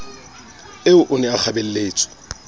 eo o ne a kgabelletswe